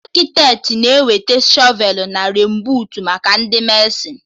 Akịtetị na-eweta shọvelụ na renbuut maka Ndị mesịn